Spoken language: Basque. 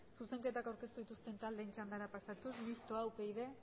zuzenketak aurkeztu dituzten taldeen txandara pasatuz mistoa upyd